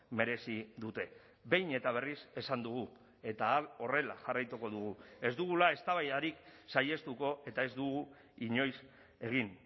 merezi dute behin eta berriz esan dugu eta horrela jarraituko dugu ez dugula eztabaidarik saihestuko eta ez dugu inoiz egin